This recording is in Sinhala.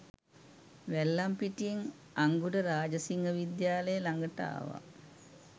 වැල්ලම්පිටියෙන් අංගොඩ රාජසිංහවිද්‍යාලය ළඟට ආවා